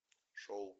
шоу